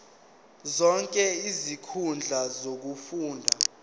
zonke izinkundla zokufunda